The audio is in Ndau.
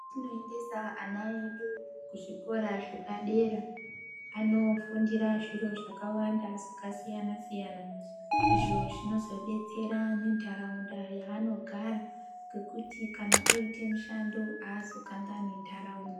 Kwetinoendesa ana edu kuzvikoro zvepadera. Anofundira zviro zvakawanda zvakasiyana -siyana izvo zvinozodetsere nentaraundanda yanogara ngekuti kana oite mushando azokanganwi ntaraunda.